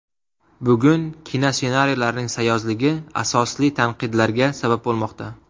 Bugun kinossenariylarning sayozligi asosli tanqidlarga sabab bo‘lmoqda.